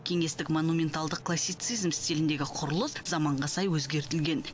кеңестік монументалдық классицизм стиліндегі құрылыс заманға сай өзгертілген